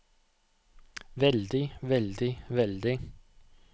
veldig veldig veldig